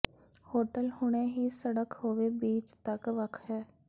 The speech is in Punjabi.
ਹੋਟਲ ਹੁਣੇ ਹੀ ਸੜਕ ਹੋਵੋ ਬੀਚ ਤੱਕ ਵੱਖ ਹੈ